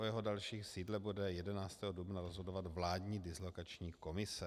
O jeho dalším sídle bude 11. dubna rozhodovat vládní dislokační komise.